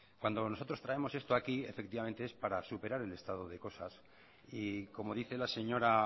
cuando nosotros traemos esto aquí es para superar el estado de cosas y como dice la señora